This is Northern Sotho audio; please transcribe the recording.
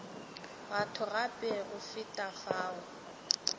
batho gape go feta fao